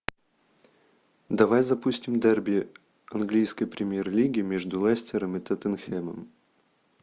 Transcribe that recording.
давай запустим дерби английской премьер лиги между лестером и тоттенхэмом